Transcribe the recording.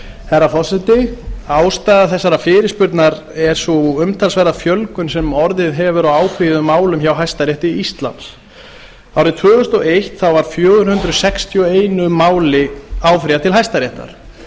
herra forseti ástæða þessarar fyrirspurnar er sú umtalsverða fjölgun sem orðið hefur á áfrýjuðum málum hjá hæstarétti íslands árið tvö þúsund og eitt var fjögur hundruð sextíu og einu máli áfrýjað til hæstaréttar